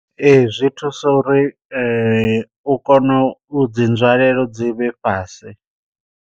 Ee zwi thusa uri u kone u dzi nzwalelo dzi vhe fhasi.